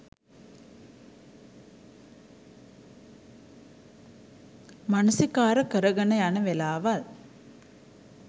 මනසිකාර කරගෙන යන වෙලාවල්